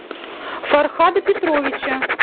фархада петровича